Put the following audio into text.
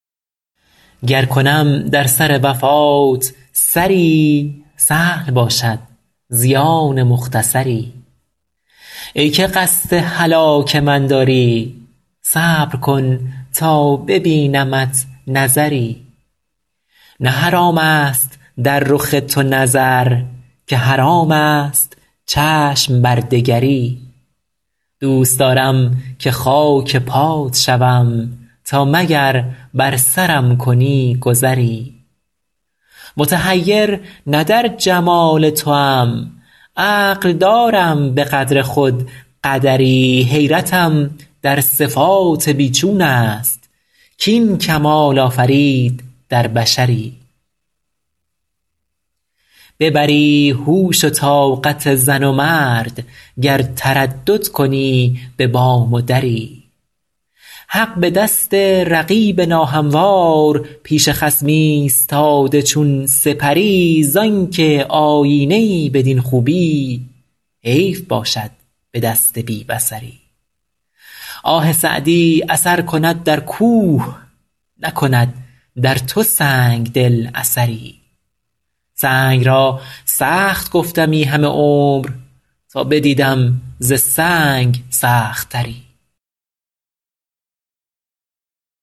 گر کنم در سر وفات سری سهل باشد زیان مختصری ای که قصد هلاک من داری صبر کن تا ببینمت نظری نه حرام است در رخ تو نظر که حرام است چشم بر دگری دوست دارم که خاک پات شوم تا مگر بر سرم کنی گذری متحیر نه در جمال توام عقل دارم به قدر خود قدری حیرتم در صفات بی چون است کاین کمال آفرید در بشری ببری هوش و طاقت زن و مرد گر تردد کنی به بام و دری حق به دست رقیب ناهموار پیش خصم ایستاده چون سپری زان که آیینه ای بدین خوبی حیف باشد به دست بی بصری آه سعدی اثر کند در کوه نکند در تو سنگ دل اثری سنگ را سخت گفتمی همه عمر تا بدیدم ز سنگ سخت تری